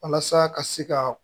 Walasa ka se ka